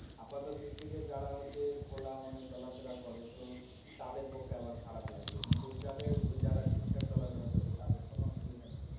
আপাতঃ দৃষ্টিতে যারা হচ্ছে খোলা মনে চলাফেরা করে তো তাদের পক্ষে আবার খারাপ লাগবে কিন্তু যাদের যারা ঠিক থাক চলা ফেরা করছে তাদের কোনো অসুবিধা নেই।